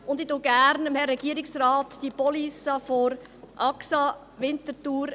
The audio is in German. Ich zeige Herrn Regierungsrat Müller gerne die Police der Axa Winterthur;